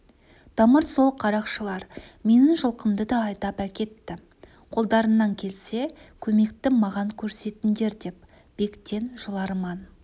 тамыр сол қарақшылар менің жылқымды да айдап әкетті қолдарыңнан келсе көмекті маған көрсетіңдер деп бектен жыларман